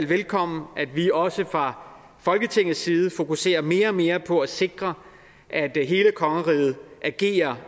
velkommen at vi også fra folketingets side fokuserer mere og mere på at sikre at hele kongeriget agerer